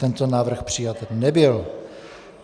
Tento návrh přijat nebyl.